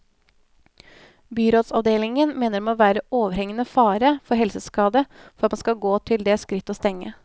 Byrådsavdelingen mener det må være overhengende fare for helseskade for at man skal gå til det skritt å stenge.